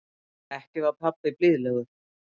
Ekki var pabbi blíðlegur.